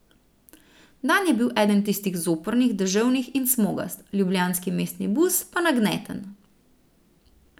Dan je bil eden tistih zoprnih, deževen in smogast, ljubljanski mestni bus pa nagneten.